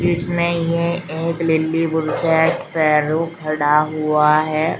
इसमें यह एक नीली बुशेट पैरों खड़ा हुआ है।